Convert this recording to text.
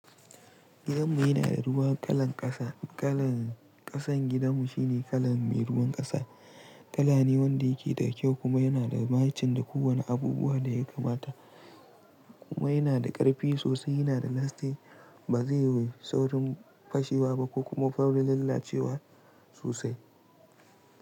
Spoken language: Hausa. Gidanmu yana da ruwan kalan ƙasa. Kalan ƙasan gidanmu shi ne kalan mai ruwan ƙasa. Kala ne wanda yake da kyau kuma yana da mahacin da kowane abubuwa da ya kamata. Kuma yana da ƙarfi sosai, yana da lasting, ba zai yi saurin fashewa ba ko kuma saurin lalacewa sosai.